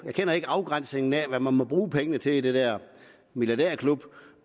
kender ikke afgrænsningen af hvad man må bruge pengene til i den der milliadærklub